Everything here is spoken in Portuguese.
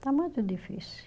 Está muito difícil.